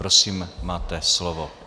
Prosím, máte slovo.